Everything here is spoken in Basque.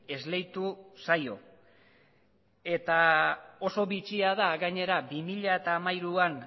esleitu zaio eta oso bitxia da gainera bi mila hamairuan